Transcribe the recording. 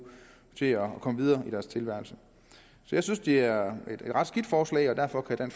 til at komme videre i deres tilværelse så jeg synes det er et ret skidt forslag og derfor kan